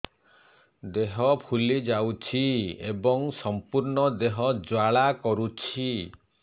ଦେହ ଫୁଲି ଯାଉଛି ଏବଂ ସମ୍ପୂର୍ଣ୍ଣ ଦେହ ଜ୍ୱାଳା କରୁଛି